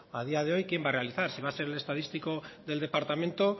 a día de hoy quién va a realizar si va a ser el estadístico del departamento